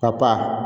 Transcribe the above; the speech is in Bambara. Ka papa